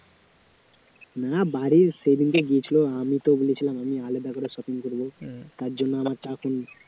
না বাড়ির সেদিনকে গিয়েছিল আমি তো বলেছিলাম আমি আলাদা করে shopping করব, তার জন্য আমার চাপ নেই